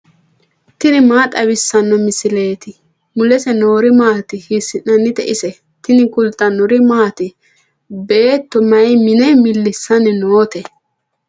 tini maa xawissanno misileeti ? mulese noori maati ? hiissinannite ise ? tini kultannori maati? Beetto may mine milisanni nootte?